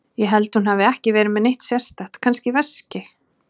Ég held hún hafi ekki verið með neitt sérstakt, kannski veski.